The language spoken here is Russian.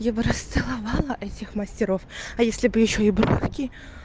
я бы расцеловала этих мастеров а если бы ещё и бровки